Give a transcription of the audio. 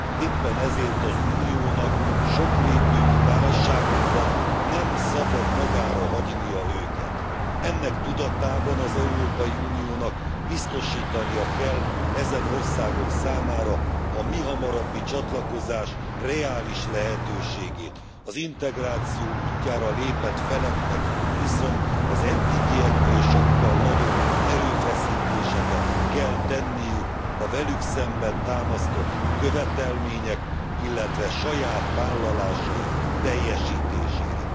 Éppen ezért az Uniónak nem szabad magára hagynia őket sokrétű válságukban. Ennek tudatában az Európai Uniónak biztosítania kell ezen országok számára a mihamarabbi csatlakozás reális lehetőségét, az integráció útjára lépett feleknek viszont az eddigieknél sokkal nagyobb erőfeszítéseket kell tenniük a velük szemben támasztott követelmények, illetve saját vállalásaik teljesítésére.